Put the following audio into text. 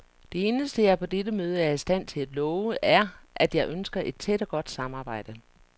Det eneste, jeg på dette møde er i stand til at love, er, at jeg ønsker et tæt og godt samarbejde.